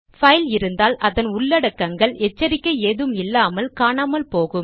file இருந்தால் அதன் உள்ளடக்கங்கள் எச்சரிக்கை ஏதும் இல்லாமல் காணாமல் போகும்